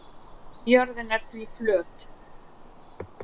jörðin er því flöt